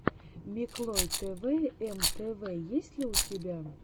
миклой тэвэ эм тэ вэ есть ли у тебя